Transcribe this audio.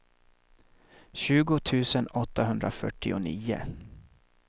tjugo tusen åttahundrafyrtionio